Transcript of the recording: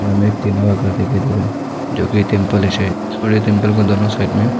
यहां में एक टीना का घर दिखाई दे रहा है जो की टेंपल है शायद और ये टेंपल का दोनों साइड में --